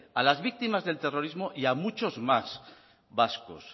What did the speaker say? a las víctimas del terrorismo y a muchos más vascos